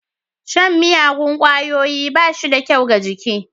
Shan miyagun ƙwayoyi bashida kyau ga jiki.